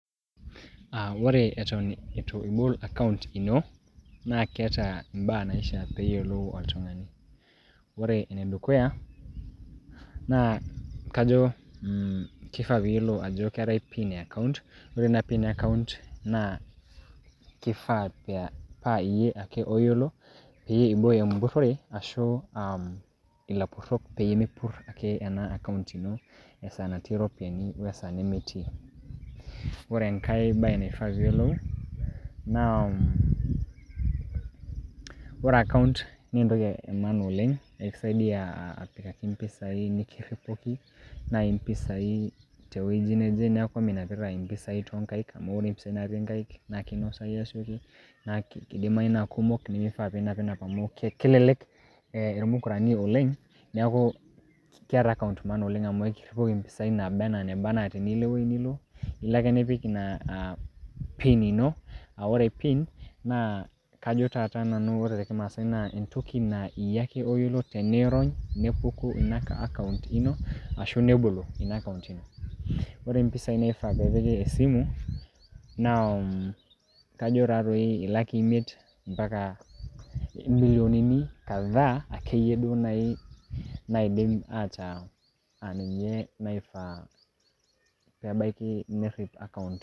Aa ore Eton ibol akaunt ino naa keeta ibaa naishaa neyiolou oltung'ani, ore ene dukuya naa kajo mm keifaa neyiolou ajo keetae pin ekaunt, ore Ina pin ekaunt naa keifaa naa iyie ake oyiolo pee ibooyo emburrore ashu aa mm ilapurrok peyie eme purroo ake ena ekaunt ino esaa natii iropiyiani wesaa nemetii, ore engae bae neifaa pee iyiolou naa ore ekaunt naa entoki emaana oleng' kakisaidia apikaki empisai nikirripoki naa empisai tewueji neje, neaku minapita empisai too ngaek amu ore impisai natii engaik naa keinosayu naa keidimayu naa kumok neeku keidimayu ninap enap amu kelelek ilmokorani oleng' neaku keeta ekaunt maana oleng' amu kakirripoki naaba neeba enaa teniyieu Niko ewueji Nilo ilo ake nipik Ina Pin ino a ore Pin naa kajo taata Nanu tormaasae entoki naa iyie ake oyiolo tenirony nepuku ekaunt ino, ashu nebolo Ina ekaunt ino, ore impisai naifaa nepiki esimu, naa kajo taatoi ilakii emiet ompaka imilionini ake ieyie kadhaa iyie duo naaii naidim ataa ninche naifaa neabaki nerrip ekaunt.